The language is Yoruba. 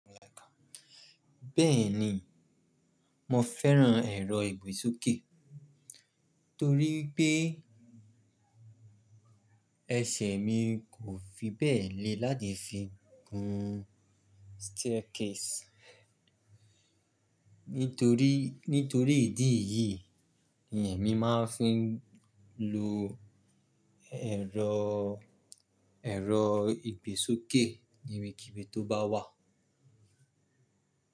Bẹ́ẹ̀ni, mo fẹ́ràn ẹ̀rọ ìgbésókè torí pé ẹ̀ṣẹ̀ mi kò fi bẹ́ẹ̀ le láti fi gun staircase. Nítorí, nítorí ìdí èyí ni èmi máa ń fi ń lo ẹ̀rọ, ẹ̀rọ ìgbésókè níbikíbi tó bá wà.